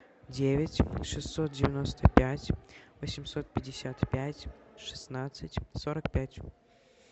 девять шестьсот девяносто пять восемьсот пятьдесят пять шестнадцать сорок пять